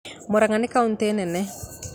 Murang'a nĩ kautĩ nene